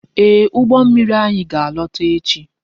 Ee, ụgbọ mmiri anyị ga-alọta echi